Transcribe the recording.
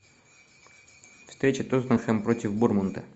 встреча тоттенхэм против борнмута